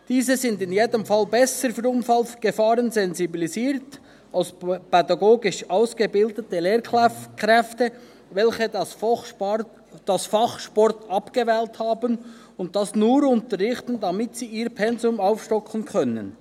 Diese sind in jedem Fall besser für Unfallgefahren sensibilisiert als pädagogisch ausgebildete Lehrkräfte, welche das Fach Sport abgewählt haben und es nur unterrichten, damit sie ihr Pensum aufstocken können.